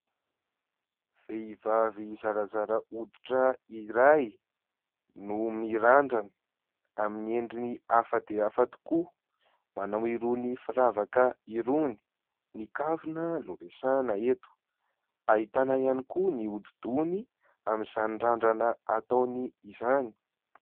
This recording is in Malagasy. Vehivavy zarazara hoditra iray no mirandrana amin'ny endriny hafa dia hafa tokoa, manao irony firavaka irony, ny kavina no resahina eto. Ahitana ihany koa ny hodidohany amin'izany randrana ataony izany.